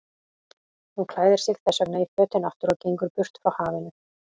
Hún klæðir sig þessvegna í fötin aftur og gengur burt frá hafinu.